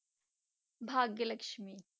Bhagya Lakshmi.